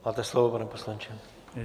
Máte slovo, pane poslanče.